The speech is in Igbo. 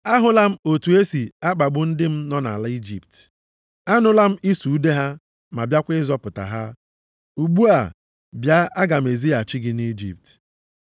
Ahụla m otu e si akpagbu ndị m nọ nʼala Ijipt. Anụla m ịsụ ude ha bịakwa ịzọpụta ha. Ugbu a bịa, aga m ezighachi gị nʼIjipt.’ + 7:34 \+xt Ọpụ 3:5,7,8,10\+xt*